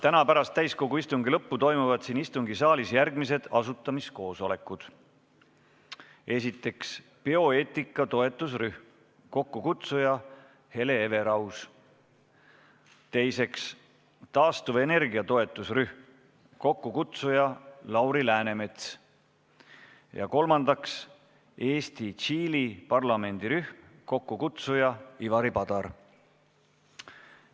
Täna pärast täsikogu istungi lõppu toimuvad siin istungisaalis järgmised asutamiskoosolekud: esiteks, bioeetika toetusrühm, kokkukutsuja Hele Everaus; teiseks, taastuvenergia toetusrühm, kokkukutsuja Lauri Läänemets; kolmandaks, Eesti-Tšiili parlamendirühm, kokkukutsuja Ivari Padar.